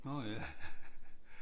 Nå ja